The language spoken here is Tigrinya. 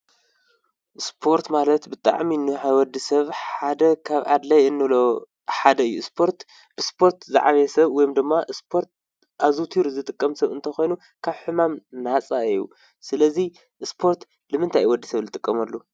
ስፖርት ማለት ብጣዕሚ ንወዲ ሰብ ሓደ ካብ ኣድላዪ እንብሎ ሓደ እዩ፡፡ ብስፖርት ዝዓበየ ሰብ እንተኾይኑ ወይ ድማ ስፖርት ኣዘውቲሩ ዝጥቀም ሰብ እንተኾይኑ ካብ ሕማም ነፃ እዩ፡፡ ስለዚ ስፖርት ንምንታይ እዩ ወዲ ሰብ ዝጥቀመሉ?